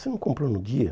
Você não comprou no dia?